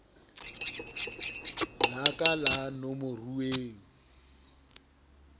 laka la ka la nomoruweng